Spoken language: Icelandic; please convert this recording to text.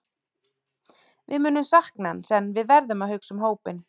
Við munum sakna hans en við verðum að hugsa um hópinn.